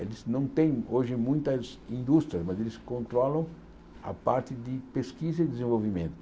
Eles não têm hoje muitas indústrias, mas eles controlam a parte de pesquisa e desenvolvimento.